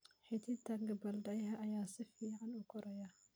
Xididka gabbaldayaha ayaa si fiican u koraya.